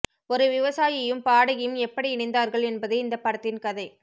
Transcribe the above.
ஒரு விவசாயியும் பாடகியும் எப்படி இணைந்தார்கள் என்பதே இந்த படத்தின் கதை